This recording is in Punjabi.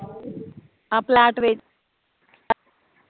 ਆਹ ਪਲਾਟ ਵੇਚ